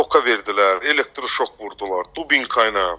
Tokka verdilər, elektroşok vurdular, dubinka ilə.